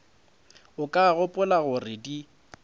o ka gopola gore di